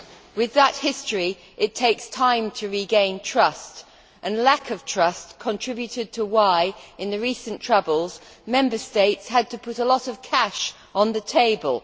With that history, it takes time to regain trust, and lack of trust contributed to why, in the recent troubles, Member States had to put a lot of cash on the table.